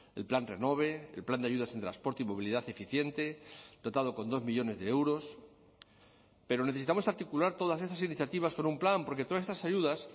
el plan renove el plan de ayudas en transporte y movilidad eficiente dotado con dos millónes de euros pero necesitamos articular todas esas iniciativas con un plan porque todas estas ayudas